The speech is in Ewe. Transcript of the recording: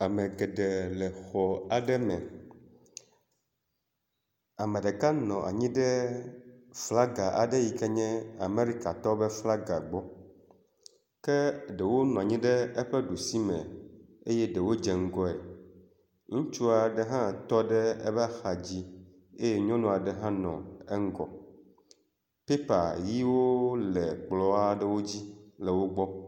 Ame geɖe le xɔ aɖe me. Ame ɖeka nɔ anyi ɖe flaga aɖe yike nye Amerikatɔwo ƒe flaga gbɔ. Ke ɖewo nɔ anyi ɖe eƒe ɖusi me eye ɖewo dze ŋgɔe. Ŋutsu aɖe hã tɔ ɖe eƒe axa dzi eye nyɔnu aɖe hã le eŋgɔ. Pɛpa ʋiwo le kplɔ aɖewo dzi le wo gbɔ.